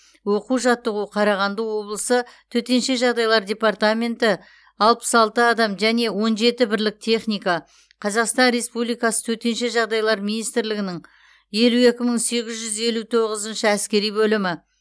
оқу жаттығу қарағанды облысы төтенше жағдайлар департаменті алпыс алты адам және он жеті бірлік техника қазақстан республикасы төтенше жағдайлар министрлігінің елу екі мың сегіз жүз елу тоғызыншы әскери бөлімі